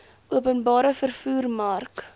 openbare vervoer mark